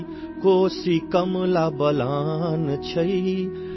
کوشی، کملا بلان ہے،